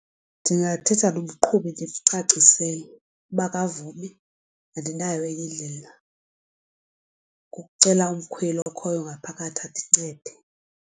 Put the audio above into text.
Ndingathetha nomqhubi ndimcacisele, uba akavumi andinayo enye indlela kukucela umkhweli okhoyo ngaphakathi andincede.